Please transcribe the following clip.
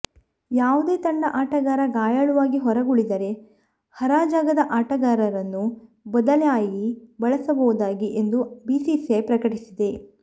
ಂುುಾವುದೇ ತಂಡ ಆಟಗಾರ ಗಾಂುುಾಳುವಾಗಿ ಹೊರಗುಳಿದರೆ ಹರಜಾಗದ ಆಟಗಾರರನ್ನು ಬದಲಿಂುುಾಗಿ ಬಳಸಬಹುದಾಗಿದೆ ಎಂದು ಬಿಸಿಸಿಐ ಪ್ರಕಟಿಸಿದೆ